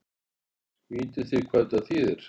Vitið þið hvað þetta þýðir?